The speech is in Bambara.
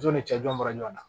Jɔn ni cɛ jɔn bɔra ɲɔgɔn na